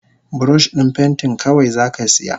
Burosh din pentin kawai zaka siya?